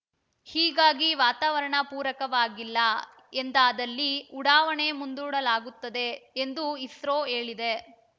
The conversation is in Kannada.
ಹೀಗಾಗಿ ವಾತಾವರಣ ಪೂರಕವಾಗಿಲ್ಲ ಎಂದಾದಲ್ಲಿ ಉಡಾವಣೆ ಮುಂದೂಡಲಾಗುತ್ತದೆ ಎಂದು ಇಸ್ರೋ ಹೇಳಿದೆ